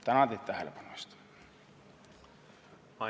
Tänan teid tähelepanu eest!